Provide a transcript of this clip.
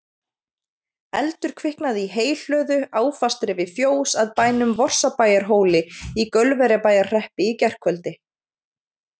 Eldur kviknaði í heyhlöðu, áfastri við fjós að bænum Vorsabæjarhóli í Gaulverjabæjarhreppi í gærkvöldi.